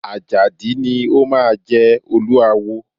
Àjàdí ni o máa jẹ Olúawo.